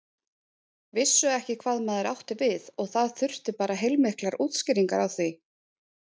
Vissu ekki hvað maður átti við og það þurfti bara heilmiklar útskýringar á því.